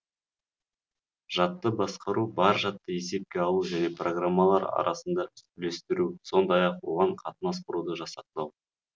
жадты басқару бар жадты есепке алу және программалар арасында үлестіру сондай ақ оған қатынас құруды жасақтау